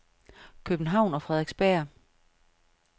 København og Frederiksberg